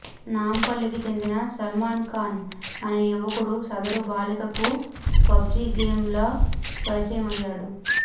నాంపల్లికి చెందిన సల్మాన్ ఖాన్ అనే యువకుడు సదరు బాలికకు పబ్జీ గేమ్లో పరిచయమయ్యాడు